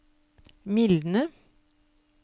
mildne